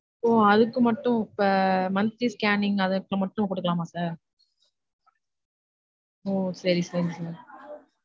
ஒ அதுக்கு மட்டும் இப்ப monthly scanning அதுக்கு மட்டும் குடுக்கலாமா sir? ஒ சரி சரி sir